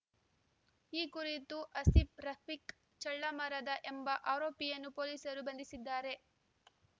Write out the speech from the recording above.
ಈ ಕುರಿತು ಆಸೀಫ್‌ ರಫೀಕ್‌ ಚಳ್ಳಮರದ ಎಂಬ ಆರೋಪಿಯನ್ನು ಪೊಲೀಸರು ಬಂಧಿಸಿದ್ದಾರೆ